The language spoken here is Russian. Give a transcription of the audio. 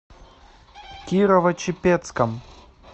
кирово чепецком